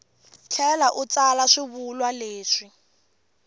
tlhela u tsala swivulwa leswi